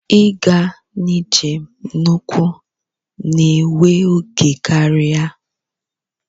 Ịga njem n'ụkwụ na-ewe oge karịa.